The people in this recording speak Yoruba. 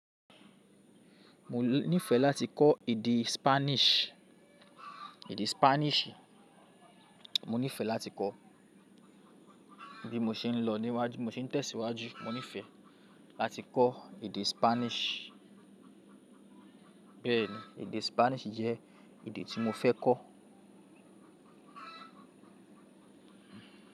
Mo nífẹ láti kọ́ èdè Spanish. Èdè Spanish, mo nífẹ láti kọ́. Bí mo ṣe ń lọ níwájú, mo se ń tẹ̀síwájú, mo nífẹ láti kọ́ èdè Spanish. Bẹ́ẹ̀ ni, èdè Spanish jẹ́ èdè tí mo fẹ́ kọ́